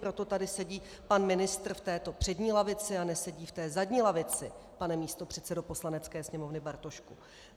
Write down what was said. Proto tady sedí pan ministr v této přední lavici a nesedí v té zadní lavici, pane místopředsedo Poslanecké sněmovny Bartošku.